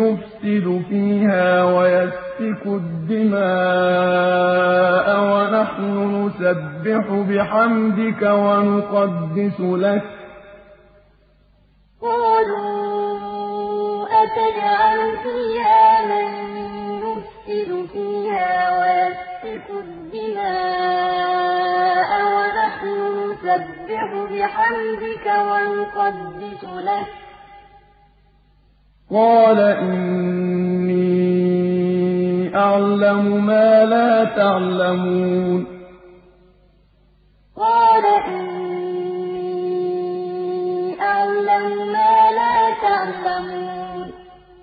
يُفْسِدُ فِيهَا وَيَسْفِكُ الدِّمَاءَ وَنَحْنُ نُسَبِّحُ بِحَمْدِكَ وَنُقَدِّسُ لَكَ ۖ قَالَ إِنِّي أَعْلَمُ مَا لَا تَعْلَمُونَ وَإِذْ قَالَ رَبُّكَ لِلْمَلَائِكَةِ إِنِّي جَاعِلٌ فِي الْأَرْضِ خَلِيفَةً ۖ قَالُوا أَتَجْعَلُ فِيهَا مَن يُفْسِدُ فِيهَا وَيَسْفِكُ الدِّمَاءَ وَنَحْنُ نُسَبِّحُ بِحَمْدِكَ وَنُقَدِّسُ لَكَ ۖ قَالَ إِنِّي أَعْلَمُ مَا لَا تَعْلَمُونَ